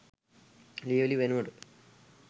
ලියවිලි වෙනුවට